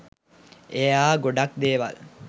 එයා ගොඩක් දේවල්